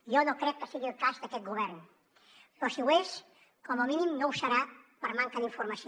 jo no crec que sigui el cas d’aquest govern però si ho és com a mínim no ho serà per manca d’informació